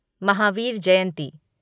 Mahavir Jayanti